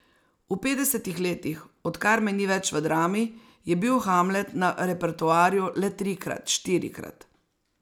V petdesetih letih, odkar me ni več v Drami, je bil Hamlet na repertoarju le trikrat, štirikrat.